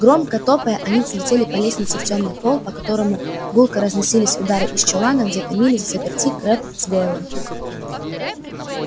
громко топая они взлетели по лестнице в тёмный холл по которому гулко разносились удары из чулана где томились взаперти крэбб с гойлом